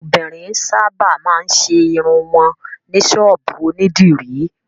Àwọn obìnrin sábà máa ń ṣe irun wọn ní ṣọ́ọ́bù onídìrí.